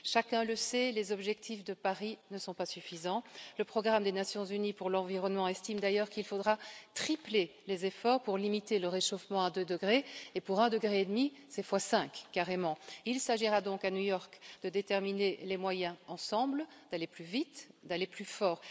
Chacun le sait, les objectifs de Paris ne sont pas suffisants, le Programme des Nations unies pour l'environnement estime d'ailleurs qu'il faudra tripler les efforts pour limiter le réchauffement à 2 degrés et pour un degré et demi c'est fois 5 carrément. Il s'agira donc, à New York, de déterminer les moyens ensemble d'aller plus vite, d'aller plus fort.